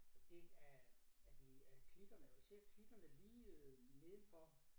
Det af af de af klitterne vi ser klitterne lige nedenfor